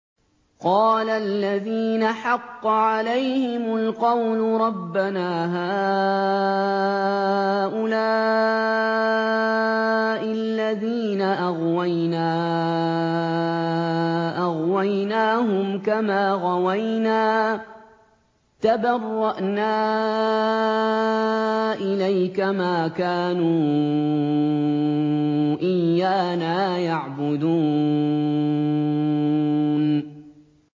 قَالَ الَّذِينَ حَقَّ عَلَيْهِمُ الْقَوْلُ رَبَّنَا هَٰؤُلَاءِ الَّذِينَ أَغْوَيْنَا أَغْوَيْنَاهُمْ كَمَا غَوَيْنَا ۖ تَبَرَّأْنَا إِلَيْكَ ۖ مَا كَانُوا إِيَّانَا يَعْبُدُونَ